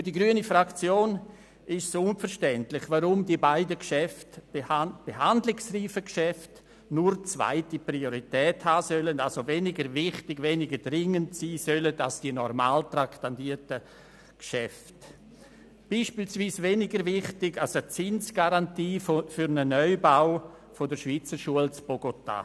Für die grüne Fraktion ist es unverständlich, weshalb die beiden behandlungsreifen Geschäfte nur zweite Priorität haben und somit weniger wichtig, weniger dringend sein sollen als die normal traktandierten Geschäfte, beispielsweise weniger wichtig als eine Garantie für den Neubau der Schweizer Schule in Bogotá.